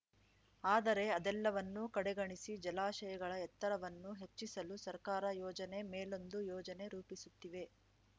ಆದರೆ ಅದೆಲ್ಲವನ್ನೂ ಕಡೆಗಣಿಸಿ ಜಲಾಶಯಗಳ ಎತ್ತರವನ್ನು ಹೆಚ್ಚಿಸಲು ಸರ್ಕಾರ ಯೋಜನೆ ಮೇಲೊಂದು ಯೋಜನೆ ರೂಪಿಸುತ್ತಿವೆ